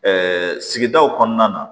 sigidaw kɔnɔna na